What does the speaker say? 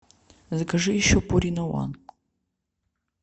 закажи еще пурина ван